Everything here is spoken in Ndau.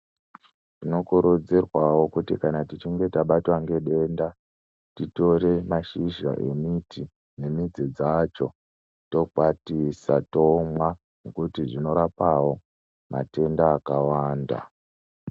Tinokurudzirwawo kuti kana tichinge tabatwa ngedenda titore mashizha emiti nemiti dzacho tokwatisa tomwa ngokuti zvinorapawo matenda akawanda.